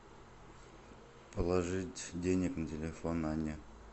положить денег на телефон анне